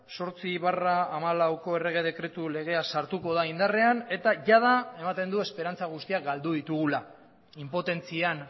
zortzi barra hamalauko errege dekretu legea sartuko da indarrean eta jada ematen du esperantza guztiak galdu ditugula inpotentzian